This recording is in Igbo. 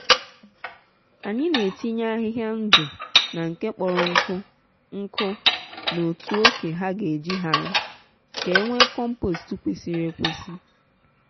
anyi n’etinye ahịhịa ndụ na nke kpọrọ nkụ nkụ n’otu oke ha ga e ji hara ka enwe compost kwesịrị ekwesị